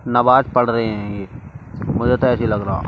नमाज पढ़ रहे हैंये मुझे तो ऐसे ही लग रहा है।